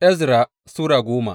Ezra Sura goma